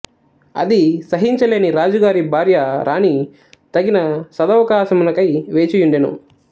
అది సహించలేని రాజుగారి భార్య రాణి తగిన సదవకాశము నకై వేచియుండెను